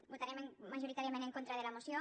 votarem majoritàriament en contra de la moció